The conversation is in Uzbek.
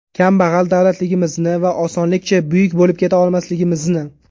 Kambag‘al davlatligimizni va osonlikcha buyuk bo‘lib keta olmasligimizni.